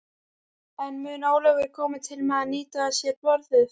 En mun Ólafur koma til með að nýta sér borðið?